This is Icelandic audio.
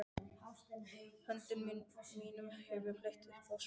Höndum mínum hef ég fleygt upp á svalir.